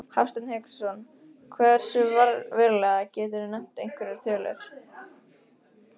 Hafsteinn Hauksson: Hversu verulega, geturðu nefnt einhverjar tölur?